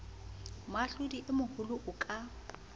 moahlodi e moholo a ka